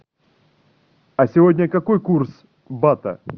а сегодня какой курс бата